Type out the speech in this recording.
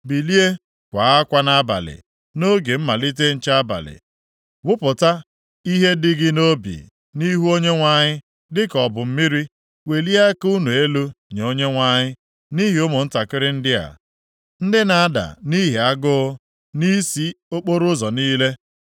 Bilie, kwaa akwa nʼabalị, nʼoge mmalite nche abalị. Wụpụta ihe dị gị nʼobi nʼihu Onyenwe anyị dịka ọ bụ mmiri. Welie aka unu elu nye Onyenwe anyị nʼihi ụmụntakịrị ndị a, ndị na-ada nʼihi agụụ nʼisi okporoụzọ niile.